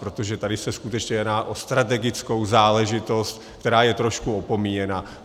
Protože tady se skutečně jedná o strategickou záležitost, která je trošku opomíjena.